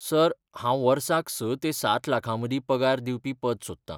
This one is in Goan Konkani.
सर, हांव वर्साक स ते सात लाखां मदीं पगार दिवपी पद सोदतां.